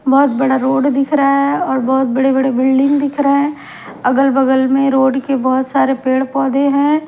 बहुत बड़ा रोड दिख रहा है बहुत बड़े-बड़े बिल्डिंग दिख रहे हैं अगल-बगल में रोड के बहुत सारे पेड़-पौधे हैं।